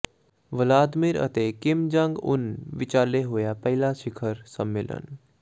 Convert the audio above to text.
Vladimir ਅਤੇ Kim Jong Un ਵਿਚਾਲੇ ਹੋਇਆ ਪਹਿਲਾ ਸਿਖਰ ਸੰਮੇਲਨ